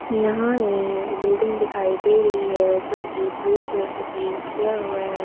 यहां एक बिल्डिंग दिखाई दे रही है जो कि पीला कलर से पेंट किया हुआ है।